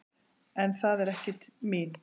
En það er ekki mín.